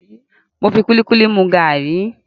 Mo fi kúlíkúlí mu gàrí.